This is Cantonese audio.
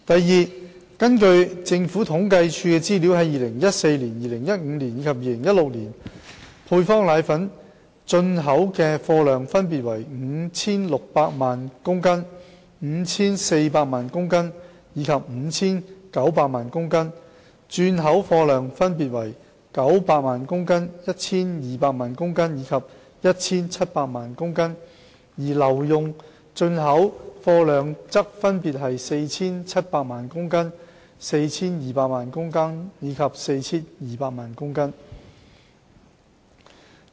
二根據政府統計處的資料，在2014年、2015年及2016年，配方粉的進口貨量分別為 5,600 萬公斤、5,400 萬公斤及 5,900 萬公斤，轉口貨量分別為900萬公斤、1,200 萬公斤及 1,700 萬公斤，而留用進口貨量則分別為 4,700 萬公斤、4,200 萬公斤及 4,200 萬公斤。